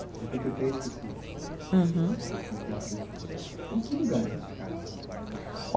Setenta e três. Uhum. tempo depois. Em que lugar vocês ficaram em São Paulo?